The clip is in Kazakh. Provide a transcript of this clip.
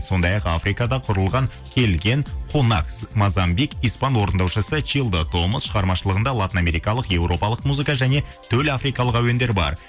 сондай ақ африкада құрылған келген кунакс мазамбик испан орындаушысы чилдо томас шығармашылығында латын америкалық европалық музыка және төлафрикалық әуендер бар